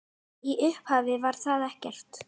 Í upphafi var ekkert.